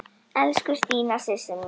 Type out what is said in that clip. Elsku Stína systir mín.